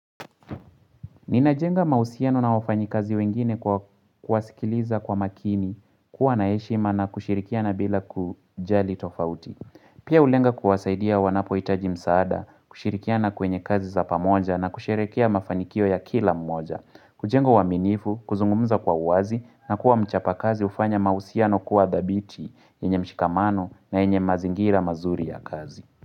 Ninajenga mausiano na wafanyikazi wengine kwa kwasikiliza kwa makini, kuwa naeshima na kushirikiana bila kujali tofauti. Pia ulenga kuwasaidia wanapoitaji msaada, kushirikiana kwenye kazi za pamoja na kusherekea mafanikio ya kila mmoja. Kujenga waminifu, kuzungumza kwa uwazi na kuwa mchapa kazi hufanya mausiano kuwa dhabiti, enye mshikamano na enye mazingira mazuri ya kazi.